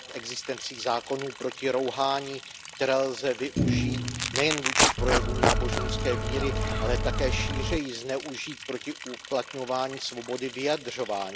existencí zákonů proti rouhání, které lze využít nejen vůči projevům náboženské víry, ale také šířeji zneužít proti uplatňování svobody vyjadřování.